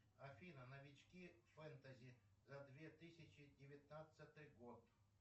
афина новички фэнтези за две тысячи девятнадцатый год